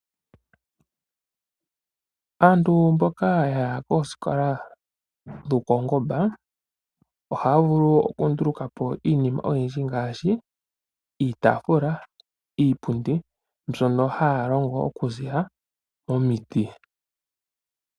Aantu mboka ya ya kooskola dhopawu ngomba ohaya vulu okundulukapo iinima oyindji ngaashi, iitaafula, iipundi mbyono haya longo okuziilila momiti.